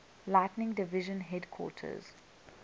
lighting division headquarters